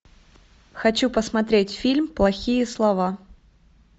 хочу посмотреть фильм плохие слова